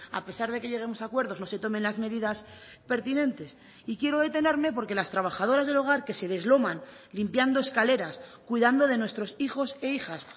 a pesar de que lleguemos a acuerdos no se tomen las medidas pertinentes y quiero detenerme porque las trabajadoras del hogar que se desloman limpiando escaleras cuidando de nuestros hijos e hijas